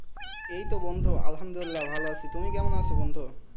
এইতো বন্ধু আলহামদুলিল্লাহ ভালো আছি তুমি কেমন আছো বন্ধু?